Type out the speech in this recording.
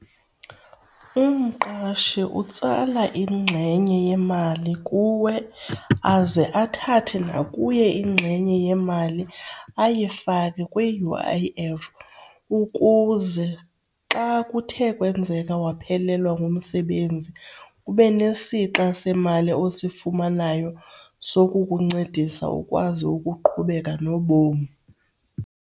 Umqashi utsala ingxenye yemali kuwe aze athathe nakuye ingxenye yemali ayifake kwi-U_I_F ukuze xa kuthe kwenzeka waphelelwa ngumsebenzi, ube esixa semali osifumanayo sokukuncedisa ukwazi ukuqhubeka nobom.